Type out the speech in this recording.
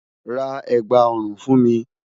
Rá ègbá-orún fún mi